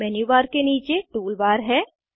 menu bar के नीचे tool bar है